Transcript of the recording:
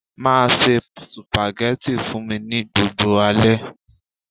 Be cooking spaghetti for me every night.